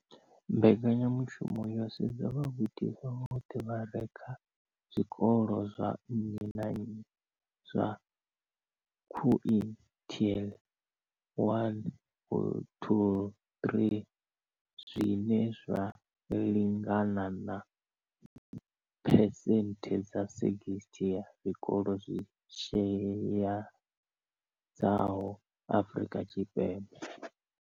Mbekanyamushumo yo sedza vhagudiswa vhoṱhe vha re kha zwikolo zwa nnyi na nnyi zwa quintile 1-3, zwine zwa lingana na phesenthe dza 60 ya zwikolo zwi shayesaho Afrika Tshipembe.